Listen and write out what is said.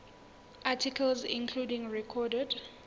articles including recorded